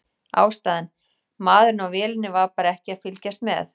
Ástæðan: Maðurinn á vélinni var bara ekki að fylgjast með.